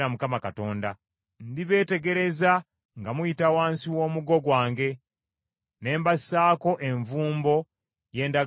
Ndibeetegereza nga muyita wansi w’omuggo gwange ne mbassaako envumbo y’endagaano yange.